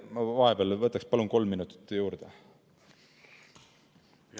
Ma vahepeal võtaks, palun, kolm minutit juurde!